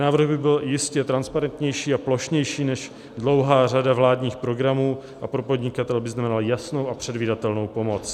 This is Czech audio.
Návrh by byl jistě transparentnější a plošnější než dlouhá řada vládních programů a pro podnikatele by znamenal jasnou a předvídatelnou pomoc.